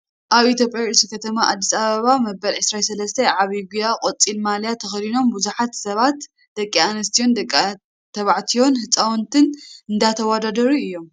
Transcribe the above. ኣብ ኢትዮጵያ ርእሰ ከተማ ኣዲስ ኣበባ መበል 23 ዓቢይ ጉያ ቆፃል ማልያ ተከዲኖም ብዙሓት ሰባት ደቂ ኣንስትዮን ደቂ ተባዕትዮን ህፃውንትን እንዳተወዳደሩ እዮም።